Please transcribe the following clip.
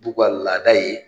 T'u ka laada ye